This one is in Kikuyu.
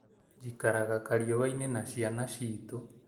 Njikaraga kũraihu na ciana citũ